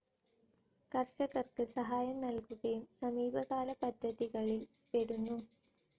കർഷകർക്ക് സഹായം നൽകുകയും സമീപകാല പദ്ധതികളിൽ പെടുന്നു.